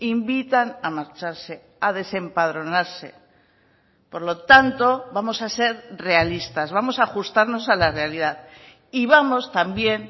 invitan a marcharse a desempadronarse por lo tanto vamos a ser realistas vamos a ajustarnos a la realidad y vamos también